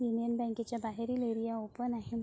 Union बँकच्या बाहेरील area open आहे.